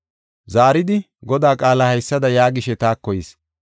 Zaaridi, Godaa qaalay haysada yaagishe taako yis.